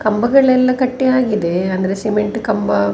ಕಂಬಗಳೆಲ್ಲ ಕಟ್ಟಿ ಆಗಿದೆ ಆಮೇಲೆ ಸಿಮೆಂಟ್ ಕಂಬ --